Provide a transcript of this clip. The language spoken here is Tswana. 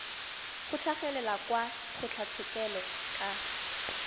go tlhagelela kwa kgotlatshekelo ka